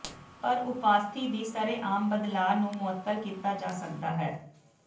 ਪਰ ਉਪਾਸਥੀ ਦੀ ਸ਼ਰੇਆਮ ਬਦਲਾਅ ਨੂੰ ਮੁਅੱਤਲ ਕੀਤਾ ਜਾ ਸਕਦਾ ਹੈ